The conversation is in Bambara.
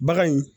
Bagan in